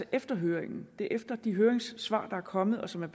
efter høringen og det er efter de høringssvar der er kommet og som